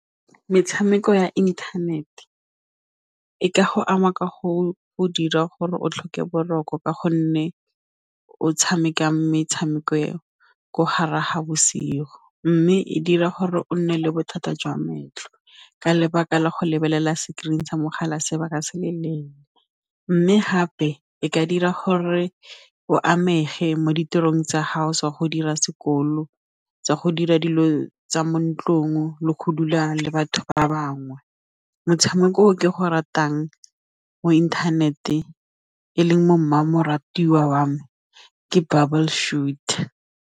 Metshameko ya internet-e e ka go ama ka go dira gore o tlhoke boroko ka gonne o tshamekang metshameko eo ko gare ga boshigo mme e dira gore o nne le bothata jwa makgetlho ka lebaka la go lebelela screen sa mogala sebaka se le mme gape e ka dira gore o amegile mo ditirong tsa go dira sekolo tsa go dira dilo tsa mo ntlong le go dula le batho ba bangwe motshameko ke go ratang mo inthanete e leng mo mmamoratwa wa me ke Bubble Shooter.